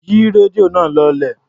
Yí rédíò náà lọlẹ̀.